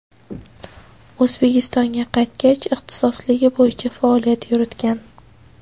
O‘zbekistonga qaytgach, ixtisosligi bo‘yicha faoliyat yuritgan.